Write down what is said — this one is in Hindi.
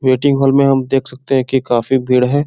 वेटिंग हॉल में हम देख सकते हैं कि काफी भीड़ है।